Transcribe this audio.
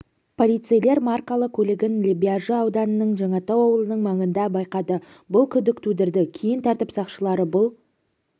полицейлер маркалы көлігін лебяжі ауданының жаңатау ауылының маңында байқады бұл күдік тудырды кейін тәртіп сақшылары бұл